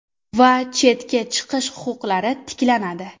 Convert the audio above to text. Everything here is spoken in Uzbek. Va chetga chiqish huquqlari tiklanadi.